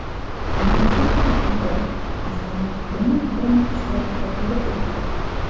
Marosim Oq uyda, prezident Donald Tramp ishtirokida bo‘lib o‘tdi.